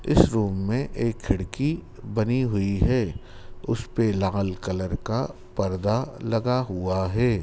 इस रूम में एक खिड़की बनी हुई है उसे पे लाल कलर का पर्दा लगा हुआ है।